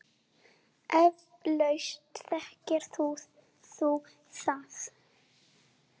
Eflaust þekkir þú það.